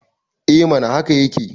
e mana haka yake